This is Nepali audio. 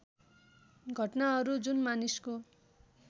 घटनाहरू जुन मानिसको